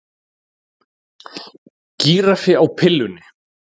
Gíraffi á pillunni